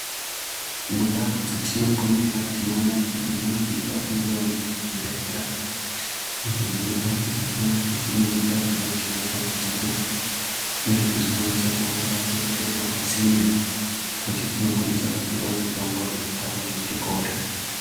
Mundau dzetinoponera tinoona kuti munofanirawo kungewo mune zvibhedhlera, izvo zvinoita kuti paya patinenge tawirwa ngematambudziko, tinge tichikwanise kurumbepo pasinde, tinokwanisa kupuwa mitombo inoita kuti tipore .